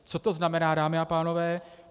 Co to znamená, dámy a pánové?